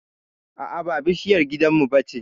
a'a ba bishiyar gidan mu bace